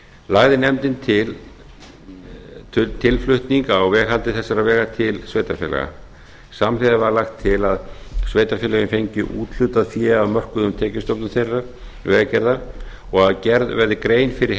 lagði nefndin til tilflutning á veghaldi þessara vega til sveitarfélaga samhliða var lagt til að sveitarfélögin fengju úthlutað fé af mörkuðum tekjustofnum þeirra til vegagerðar og gerði verði grein fyrir